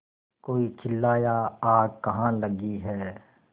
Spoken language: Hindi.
कोई चिल्लाया आग कहाँ लगी है